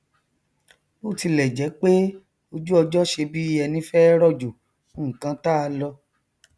bó tilẹ jẹ pé ojúọjọ ṣe bí ẹní fẹ rọjò nkan táa lọ